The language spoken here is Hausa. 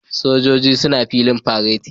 Sojojin suna filin fareti